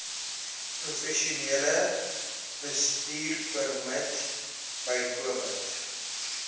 professionele bestuurpermit bykomend